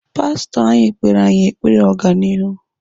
Pastọ anyị kpere anyị ekpere ọganihu.